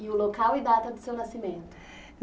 E o local e data do seu nascimento?